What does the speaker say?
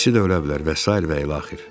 İkisi də ölə bilər və sair və ilaxır.